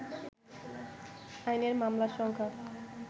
আইনের মামলার সংখ্যা